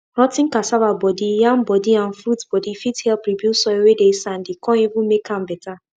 rot ten cassava body yam body and fruits body fit help rebuild soil wey dey sandy come even make am better